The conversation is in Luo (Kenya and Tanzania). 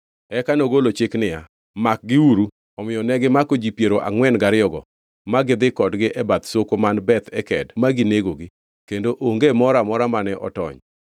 Eka nogolo chik niya, “Makgiuru” Omiyo negimako ji piero angʼwen gariyogo ma gidhi kodgi e bath soko man Beth Eked ma ginegogi, kendo onge moro amora mane otony.